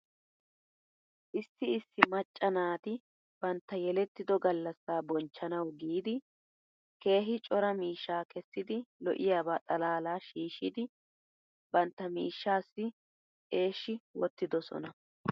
Issi issi macca naati bantta yelettido gallasaa bonchchanaw giidi keehi cora miishshaa kessidi lo'iyaaba xalaala shiishshidi bantta miishshaassi eshi wottidosoona.